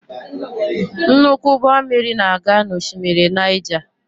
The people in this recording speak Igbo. Nnukwu ụgbọ mmiri na-aga n'oshimmiri Naija.